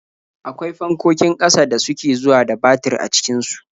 Akwai fankokin ƙasa da suke zuwa da batir a cikin su.